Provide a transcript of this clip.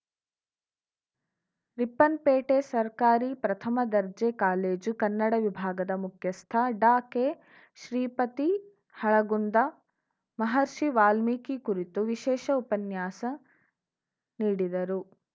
ರಿಪ್ಪನ್‌ಪೇಟೆ ಸರ್ಕಾರಿ ಪ್ರಥಮ ದರ್ಜೆ ಕಾಲೇಜು ಕನ್ನಡ ವಿಭಾಗದ ಮುಖ್ಯಸ್ಥ ಡಾಕೆಶ್ರೀಪತಿ ಹಳಗುಂದ ಮಹರ್ಷಿ ವಾಲ್ಮೀಕಿ ಕುರಿತು ವಿಶೇಷ ಉಪನ್ಯಾಸ ನೀಡಿದರು